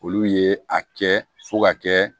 Olu ye a kɛ fo ka kɛ